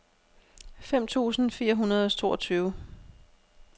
fem tusind fire hundrede og toogtyve